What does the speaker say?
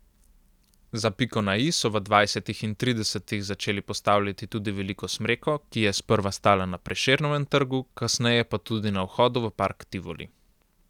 Za piko na i so v dvajsetih in tridesetih začeli postavljati tudi veliko smreko, ki je sprva stala na Prešernovem trgu, kasneje pa tudi na vhodu v park Tivoli.